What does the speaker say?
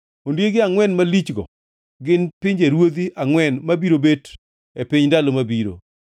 ‘Ondiegi angʼwen malichgo gin pinjeruodhi angʼwen mabiro bet e piny e ndalo mabiro.